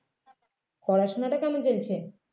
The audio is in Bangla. পড়াশুনাটা কেমন চলছে